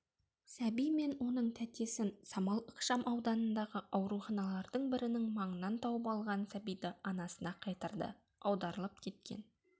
сәби мен оның тәтесін самал ықшамауданындағы ауруханалардың бірінің маңынан тауып алған сәбиді анасына қайтарды аударылып кеткен